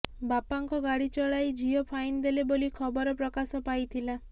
ବାପାଙ୍କ ଗାଡ଼ି ଚଲାଇ ଝିଅ ଫାଇନ୍ ଦେଲେ ବୋଲି ଖବର ପ୍ରକାଶ ପାଇଥିଲା